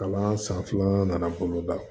Kalan san filanan nana bolo da